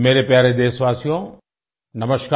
मेरे प्यारे देशवासियो नमस्कार